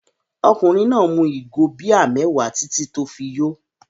Ọkùnrin náà mu ìgò bíà mẹ́wàá títí tí ó fi yó.